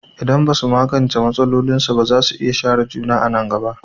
Idan ba su magance matsalolinsu ba, za su iya share juna a nan gaba.